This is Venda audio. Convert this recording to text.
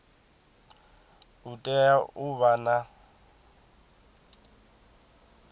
u tea u vha na